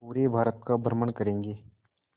पूरे भारत का भ्रमण करेंगे